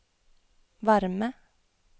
varme